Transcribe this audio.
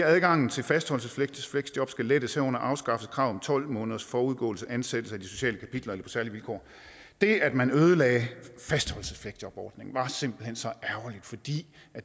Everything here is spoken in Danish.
adgangen til fastholdelses fleksjob skal lettes herunder afskaffes kravet om tolv måneders forudgående ansættelse efter de sociale kapitler eller på særlige vilkår det at man ødelagde fastholdelsesfleksjobsordningen var simpelt hen så ærgerligt fordi